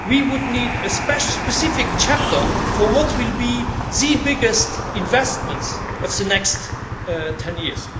We would need a specific chapter for what will be the biggest investments of the next ten years.